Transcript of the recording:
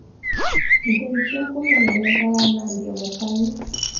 ndeithia kũmenya wega wa Nadia Mukami